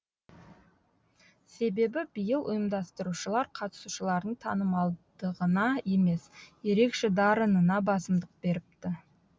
себебі биыл ұйымдастырушылар қатысушылардың танымалдығына емес ерекше дарынына басымдық беріпті